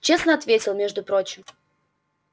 честно ответил между прочим